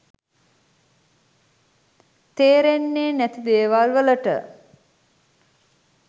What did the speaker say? තේරෙන්නේ නැති දේවල් වලට